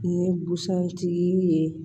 Ni busan tigi ye